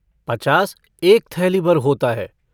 पचास एक थैलीभर होता है।